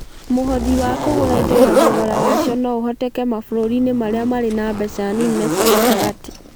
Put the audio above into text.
Mũhothi wa kũgũra indo na thogora wacio no ũhoteke mabũrũri-inĩ marĩa marĩ na mbeca nini na cia gatagatĩ (LMIC).